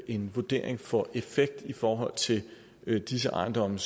en vurdering får effekt i forhold til disse ejendomme